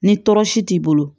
Ni tɔɔrɔsi t'i bolo